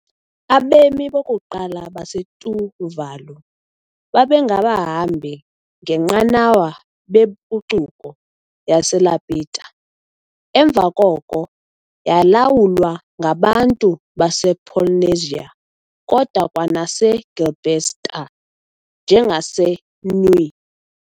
Abemi bokuqala baseTuvalu babengabahambi ngenqanawa bempucuko yaseLapita, emva koko yayilawulwa ngabantu basePolynesia kodwa kwanaseGilbertese njengaseNui.